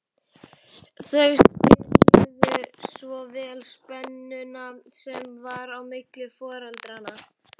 Þau skynjuðu svo vel spennuna sem var á milli foreldranna.